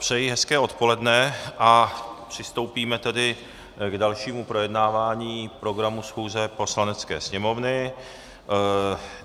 Přeji hezké odpoledne a přistoupíme tedy k dalšímu projednávání programu schůze Poslanecké sněmovny.